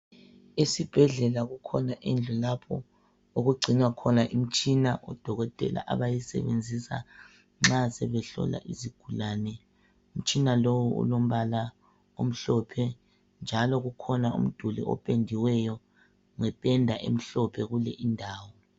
Isibhedlela kukhona indlu lapho okugcinwa khona imitshina odokotela abayisebenzisa nxa sebe hlola izigulani njengalowu olombala omhlophe njalo kukhona umduli opendiweyo ngependa emhlophe kule indawo.